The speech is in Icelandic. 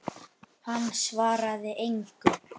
Hann svaraði engu.